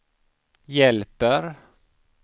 hjälper